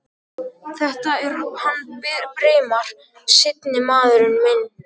Þetta er hann Brimar. seinni maðurinn minn.